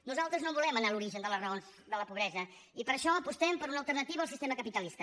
nosaltres volem anar a l’origen de les raons de la pobresa i per això apostem per una alternativa al sistema capitalista